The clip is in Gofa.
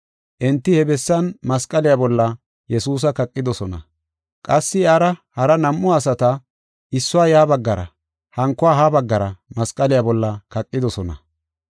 Enti he bessan masqaliya bolla Yesuusa kaqidosona. Qassi iyara hara nam7u asata, issuwa ya baggara hankuwa ha baggara masqaliya bolla kaqidosona.